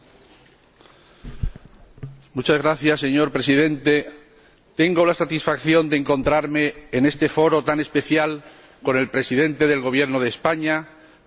Tengo la satisfacción de encontrarme en este foro tan especial con el Presidente del Gobierno de España, persona a quien aprecio mucho desde que él era un buen estudiante de Derecho.